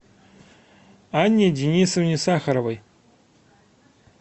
анне денисовне сахаровой